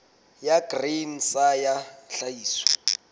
ya grain sa ya tlhahiso